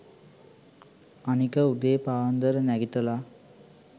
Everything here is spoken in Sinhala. අනික උදේ පාන්දර නැගිටලා